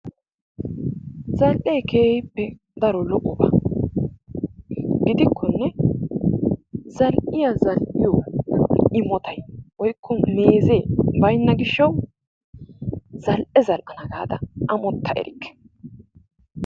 Zal''ee keehippe daro lo''oba gidikkonne zal''iya zal''iyo imotay woykko meezee baynna gishshawu zal''e zal''ana gaada amotta erikke.